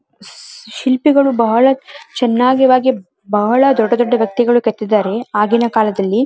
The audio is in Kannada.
ಶಿಲ್ಪಿಗಳು ಬಹಳ ಚೆನ್ನಾಗಿ ವಾಗಿ ಬಹಳ ದೊಡ್ಡ ದೊಡ್ಡ ವ್ಯಕ್ತಿಗಳು ಕೆತ್ತಿದ್ದಾರೆ.